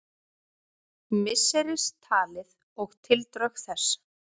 Misseristalið og tildrög þess.